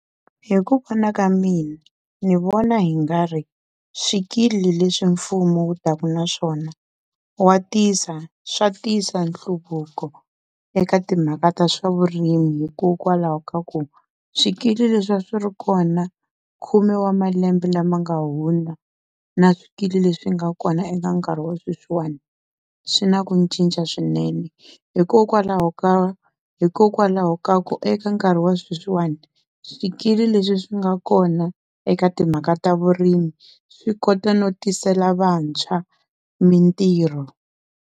Hi ku vona ka mina ni vona hi nga ri swikili leswi mfumo wu taka na swona wa tisa swa tisa nhluvuko eka timhaka ta swa vurimi hikokwalaho ka ku swikili leswi a swi ri kona khume wa malembe lama nga hundza na swikili leswi nga kona eka nkarhi wa sweswiwana swi na ku cinca swinene, hikokwalaho ka hikokwalaho ka ku eka nkarhi wa sweswiwani swikili leswi swi nga kona eka timhaka ta vurimi swi kota no tisela vantshwa mintirho.